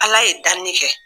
Ala ye danni kɛ